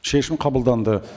шешім қабылданды